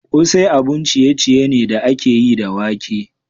Kosai abun ciye-ciye ne da aka yi da wake.